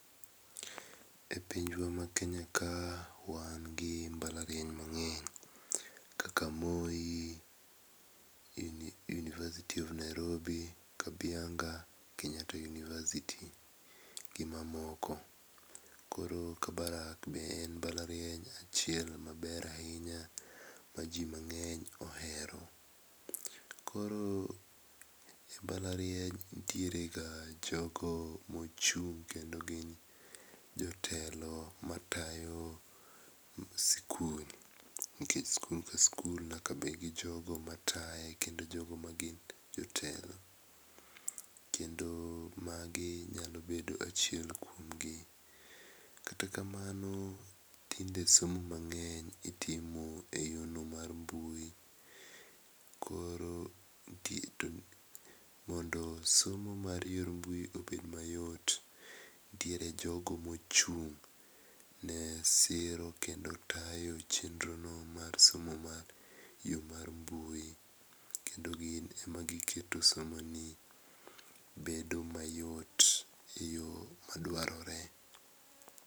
E pinywa ma Kenya kae wan gi mbalariany mang'eny, kaka Moi, University of Nairobi. Kabianga, Kenyatta University gi mamoko. Kabarak be en mbalariany ma ji mang'eny ohero. Koro e mbalariany nitierega jogo mochung' kendo gin jotelo matayo sikul nikech sikul ka sikul nyaka bed gi jogo mataye kendo jogo magin jotelo. Kendo magi nyalo bedo achiel kuom gi. Kata kamano tinde somo mang'eny itimo eyorno mar mbui. Koro nitie mondo somo mar yor mbui obed ayot, nitiere jogo mochung' ne siro kendo tayo somo mar yo mar mbui kendo gin ema giketo somoni obedo mayot eyo madwarore.